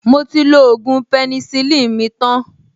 Mo ti lo ògùn penicillin mi tan